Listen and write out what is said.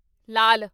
ਲਾਲ